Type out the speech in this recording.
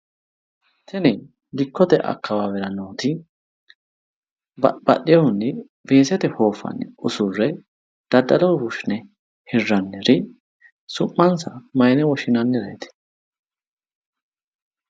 Tini dikkote akkawaawera nooti babbaxxewohunni weesete hooffanni usurre daddaloho fushshine hirranniri su'mansa mayine wishshinannireeti?